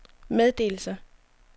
meddelelser